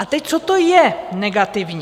A teď, co to je, negativní?